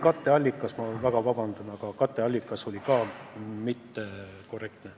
Vabandust, aga siin oli katteallikas ka mittekorrektne.